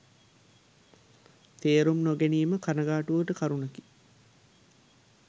තේරුම් නොගැනීම කනගාටුවට කරුණකි.